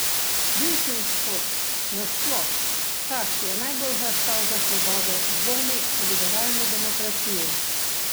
Bivši Vzhod nasploh, ta, ki je najbolj hlastal za svobodo, dvomi o liberalni demokraciji.